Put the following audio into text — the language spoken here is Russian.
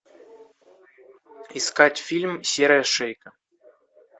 искать фильм серая шейка